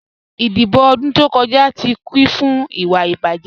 Idíbò̀ odún tó kọja tí kún fún ìwà ìbájẹ́.